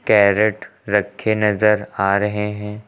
Carat रखे नजर आ रहे हैं।